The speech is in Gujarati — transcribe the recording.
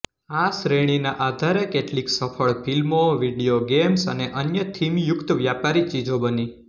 આ શ્રેણીના આધારે કેટલીક સફળ ફિલ્મો વિડીયો ગેમ્સ અને અન્ય થીમયુક્ત વ્યાપારી ચીજો બની